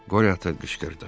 Qoryo ata qışqırdı.